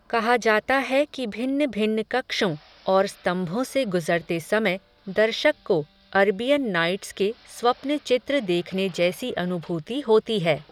कहा जाता है कि भिन्न भिन्न कक्षों, और स्तम्भों से गुज़रते समय, दर्शक को, अरबियन नाइट्स के, स्वप्न चित्र देखने जैसी अनुभूति होती है